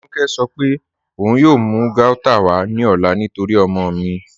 Tínúkẹ̀ sọ̀ pé ọun yóò mú gauta wà ní ọ̀là nítorí ọ̀mọ mi.